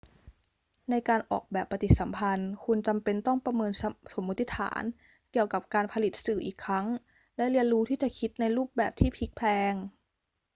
ในการออกแบบปฏิสัมพันธ์ คุณจำเป็นต้องประเมินสมมติฐานเกี่ยวกับการผลิตสื่ออีกครั้งและเรียนรู้ที่จะคิดในรูปแบบที่พลิกแพลง